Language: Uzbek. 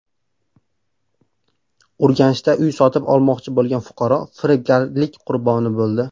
Urganchda uy sotib olmoqchi bo‘lgan fuqaro firibgarlik qurboni bo‘ldi.